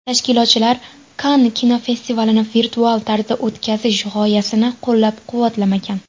Tashkilotchilar Kann kinofestivalini virtual tarzda o‘tkazish g‘oyasini qo‘llab-quvvatlamagan .